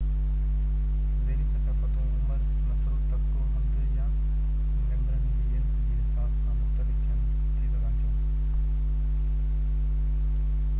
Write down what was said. ذيلي ثقافتون عمر، نسل، طبقو، هنڌ، ۽/يا ميمبرن جي جنس جي حساب سان مختلف ٿي سگهن ٿا